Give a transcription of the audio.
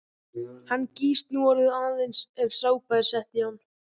Hann gýs núorðið aðeins ef sápa er sett í hann.